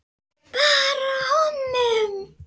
Bara honum.